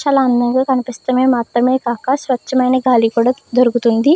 చాలా అందంగా కనిపిస్తేమే మాత్రమే కాక స్వచ్ఛమైన గాలి కూడా దొరుకుతుంది.